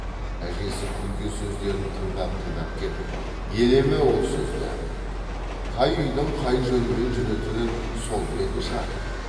әжесі күнке сөздерін тыңдап тыңдап кеп елеме ол сөзді қай үйдің қай жөнмен жүретінін сол білетін шығар